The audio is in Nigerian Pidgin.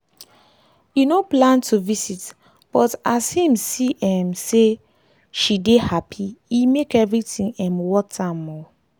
e no plan to visit but as him see um say she dey happy e make everything um worth am um